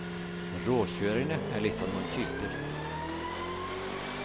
Råkjørerne er litt av noen typer.